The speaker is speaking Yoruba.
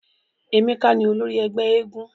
Emeka ni olori ẹgbẹ éégún.